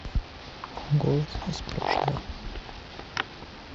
голос из прошлого